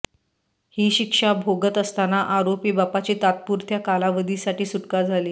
ही शिक्षा भोगत असताना आरोपी बापाची तात्पुरत्या कालावधीसाठी सुटका झाली